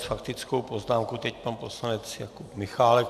S faktickou poznámkou teď pan poslanec Jakub Michálek.